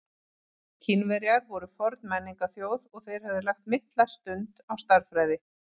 Kínverjar voru forn menningarþjóð og þeir höfðu lagt mikla stund á stærðfræði.